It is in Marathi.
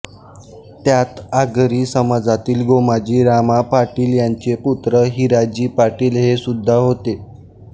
त्यात आगरी समाजातील गोमाजी रामा पाटील यांचे पुत्र हिराजी पाटील हे सुद्धा होते